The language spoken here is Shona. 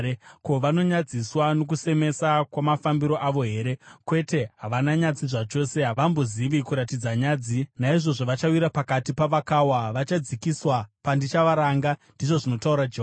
Ko, vanonyadziswa nokusemesa kwamafambiro avo here? Kwete, havana nyadzi zvachose; havambozivi kuratidza nyadzi. Naizvozvo vachawira pakati pavakawa; vachadzikiswa pandichavaranga,” ndizvo zvinotaura Jehovha.